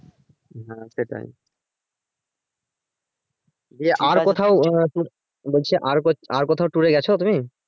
হ্যাঁ সেটাই বলছি আর ক~ আর কোথাও tour এ গেছো তুমি?